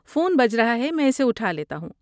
Phone بج رہا ہے، میں اسے اٹھا لیتا ہوں۔